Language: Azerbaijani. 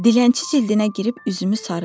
Dilənçi cildinə girib üzümü sarıdım.